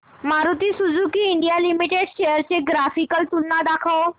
Maruti Suzuki India limited shares ची graphical तुलना दाखव